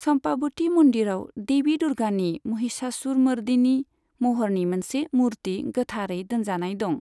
चम्पावती मन्दिराव देवी दुर्गानि महिषासुरमर्दिनी महरनि मोनसे मुर्ति गोथारै दोनजानाय दं।